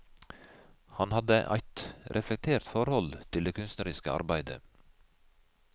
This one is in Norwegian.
Han hadde eit reflektert forhold til det kunstneriske arbeidet.